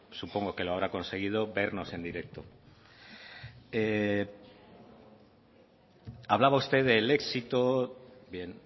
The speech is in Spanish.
supongo que lo habrá conseguido vernos en directo hablaba usted del éxito bien